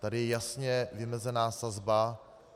Tady je jasně vymezena sazba.